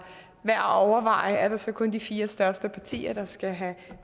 værd at overveje er det så kun de fire største partier der skal have